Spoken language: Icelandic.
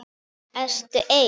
Ertu ein?